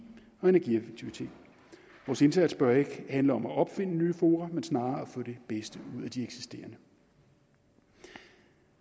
og energieffektivitet vores indsats bør ikke handle om at opfinde nye fora men snarere at få det bedste ud af de eksisterende